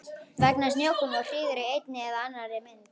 Vegna snjókomu og hríðar í einni eða annarri mynd.